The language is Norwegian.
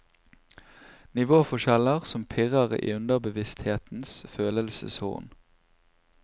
Nivåforskjeller som pirrer i underbevissthetens følelseshorn.